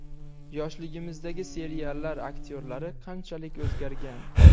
Yoshligimizdagi seriallar aktyorlari qanchalik o‘zgargan?